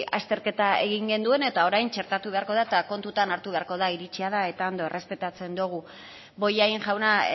azterketa egin gienuen eta orain txertatu beharko da eta kontutan hartu beharko da iritzia da eta ondo errespetatzen dugu bollain jauna